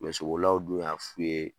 Mɛ sobolilaw dun y'a f'u ye